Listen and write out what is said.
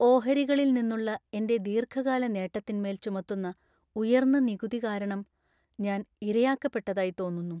ഓഹരികളിൽ നിന്നുള്ള എന്‍റെ ദീർഘകാല നേട്ടത്തിന്മേൽ ചുമത്തുന്ന ഉയർന്ന നികുതി കാരണം ഞാൻ ഇരയാക്കപ്പെട്ടതായി തോന്നുന്നു.